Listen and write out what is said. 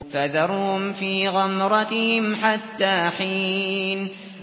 فَذَرْهُمْ فِي غَمْرَتِهِمْ حَتَّىٰ حِينٍ